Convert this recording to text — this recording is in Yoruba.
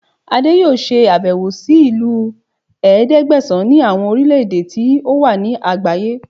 Adé yóò ṣe àbẹ̀wò sí ìlú ẹ̀ẹ́dẹ́gbẹ̀sán ní àwọn orílẹ̀ èdè tó wà ní àgbáyé